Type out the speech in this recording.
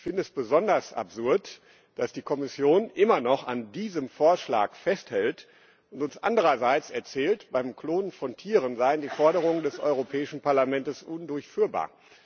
Ich finde es besonders absurd, dass die Kommission immer noch an diesem Vorschlag festhält und uns andererseits erzählt, beim Klonen von Tieren seien die Forderungen des Europäischen Parlaments undurchführbar.